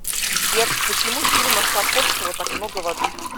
сбер почему в фильмах тарковского так много воды